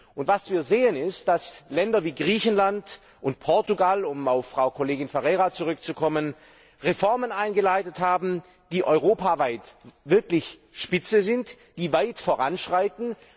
Und was wir sehen, ist, dass Länder wir Griechenland und Portugal um auf Frau Kollegin Ferreira zurückzukommen Reformen eingeleitet haben, die europaweit wirklich Spitze sind und die weit voranschreiten.